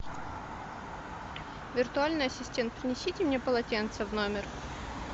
виртуальный ассистент принесите мне полотенце в номер